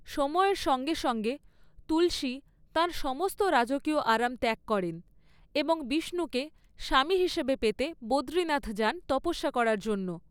সময়ের সঙ্গে সঙ্গে তুলসী তাঁর সমস্ত রাজকীয় আরাম ত্যাগ করেন এবং বিষ্ণুকে স্বামী হিসেবে পেতে বদ্রীনাথ যান তপস্যা করার জন্য।